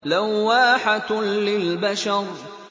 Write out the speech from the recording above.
لَوَّاحَةٌ لِّلْبَشَرِ